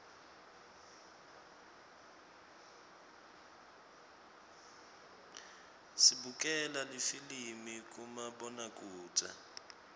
sibukela lifilimi kumabonakudze